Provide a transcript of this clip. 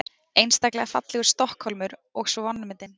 Einstaklega fallegur Stokkhólmur og svo vanmetinn.